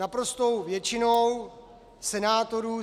Naprostou většinou senátorů